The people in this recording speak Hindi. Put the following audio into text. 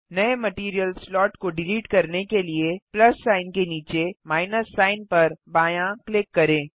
नये मटैरियल स्लॉट को डिलीट करने के लिए प्लस सिग्न के नीचे माइनस सिग्न पर बायाँ क्लिक करें